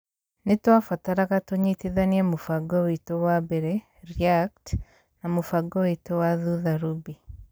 nĩ twambataraga tũnyitithanie mũbango witũ wa mbere (react) na mũbango witũ wa thutha (Ruby)